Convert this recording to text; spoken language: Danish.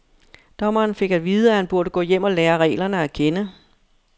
Dommeren fik at vide, at han burde gå hjem og lære reglerne at kende.